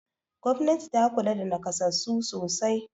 Gwamnati ta kula da naƙasassu sosai.